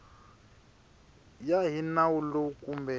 ya hi nawu lowu kumbe